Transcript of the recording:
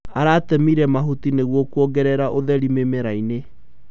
Aratemire mahuti nĩguo kuongerera ũtheri mĩmerainĩ.